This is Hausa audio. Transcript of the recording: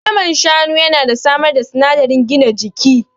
Naman Shanu ya na samar da sinadarin gina jiki